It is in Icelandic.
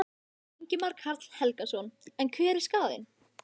Ingimar Karl Helgason: En hver er skaðinn?